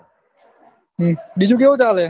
બિજું કેવું ચાલે છે